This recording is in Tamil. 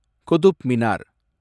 குத்துப் மினார்